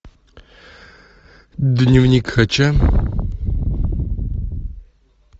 дневник хача